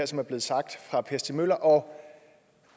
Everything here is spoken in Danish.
som er blevet sagt af per stig møller og